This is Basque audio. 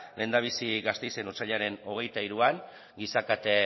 lehendabizi gasteizen otsailaren hogeita hiruan giza kate